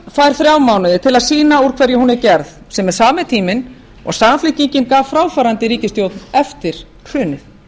fær þrjá mánuði til að sýna úr hverju hún er gerð sem er sami tíminn og samfylkingin gaf fráfarandi ríkisstjórn eftir hrunið